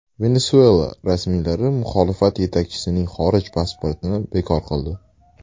Venesuela rasmiylari muxolifat yetakchisining xorij pasportini bekor qildi.